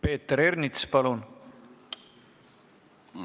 Peeter Ernits, palun!